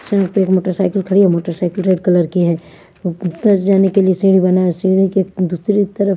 यहां पर एक मोटरसाइकिल खड़ी है मोटरसाइकिल रेड कलर की है ऊपर जाने के लिए सीढ़ी बना है सीढ़ी के दूसरी तरफ--